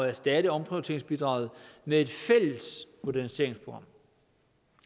erstatte omprioriteringsbidraget med et fælles moderniseringsprogram